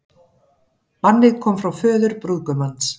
Bannið kom frá föður brúðgumans